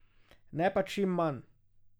Ne pa čim manj.